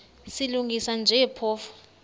silungisa nje phofu